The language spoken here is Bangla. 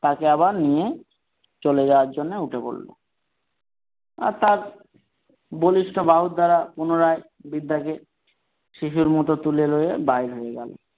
তাকে আবার নিয়ে চলে যাওয়ার জন্য উঠে পড়ল আর তার বলিষ্ঠ বাহু দ্বারা পুনরায় বৃদ্ধাকে শিশুর মতো তুলে নিয়ে বাহির হয়ে গেল।